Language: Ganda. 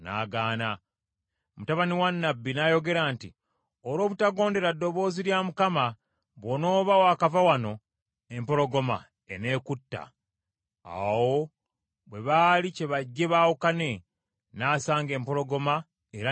Mutabani wa nnabbi n’ayogera nti, “Olw’obutagondera ddoboozi lya Mukama , bw’onooba wakava wano, empologoma eneekutta.” Awo bwe baali kyebajje baawukane, n’asanga empologoma era n’emutta.